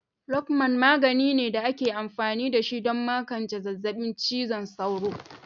Lokmal magani ne da ake amfani da shi don magance zazzabin cizon sauro.